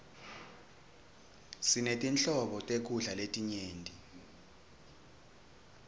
sinetinhlobo tekudla letinyenti